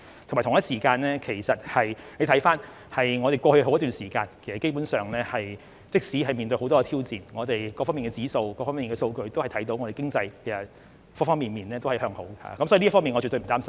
此外，大家可以看到，過去好一段時間，即使面對很多挑戰，但從香港各方面的指數或數據都可以看到，我們經濟方方面面也是向好的，所以這方面我絕對不擔心。